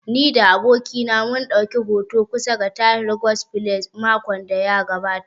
Ni da abokina mun ɗauki hoto kusa da Tahir guest palace makon da ya gabata